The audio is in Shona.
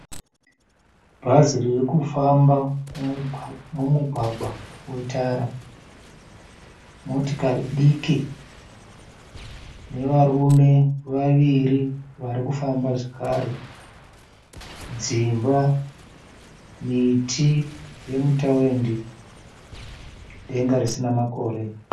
Bhazi irikufamba mumugwagwa wetara. Motikari diki nevarume vaviri vari kufamba zvakare. Dzimba, miti yemutawindi denga risina makore.